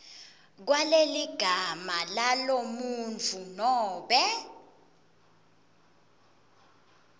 kwaleligama lalomuntfu nobe